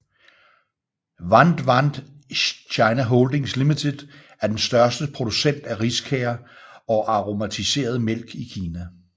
Want Want China Holdings Limited er den største producent af riskager og aromatiseret mælk i Kina